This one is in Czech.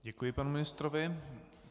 Děkuji panu ministrovi.